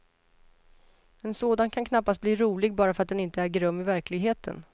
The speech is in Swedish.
En sådan kan knappast bli rolig bara för att den inte äger rum i verkligheten.